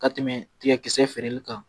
Ka tɛmɛ tiga kisɛ feereli kan